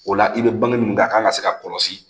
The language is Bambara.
O la i bɛ bange minnu kan a kan ka se ka kɔlɔsi